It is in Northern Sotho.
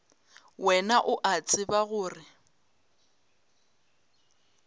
wena o a tseba gore